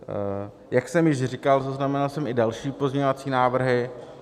Jak jsem již říkal, zaznamenal jsem i další pozměňovací návrhy.